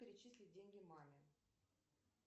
перечислить деньги маме